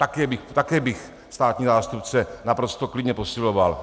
Také bych státního zástupce naprosto klidně posiloval.